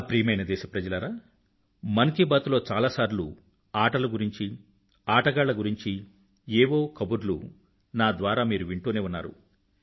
నా ప్రియమైన దేశప్రజలారా మన్ కీ బాత్ లో చాలాసార్లు నేను ఆటల గురించి ఆటగాళ్ల గురించీ ఏవో ఒక కబుర్లు నా ద్వారా మీరు వింటూనే ఉన్నారు